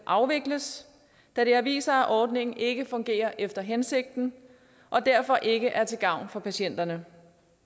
afvikles da det har vist sig at ordningen ikke fungerer efter hensigten og derfor ikke er til gavn for patienterne